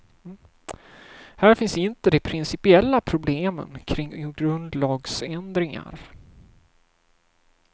Här finns inte de principiella problemen kring grundlagsändringar.